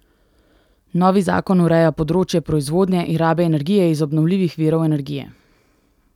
Novi zakon ureja področje proizvodnje in rabe energije iz obnovljivih virov energije.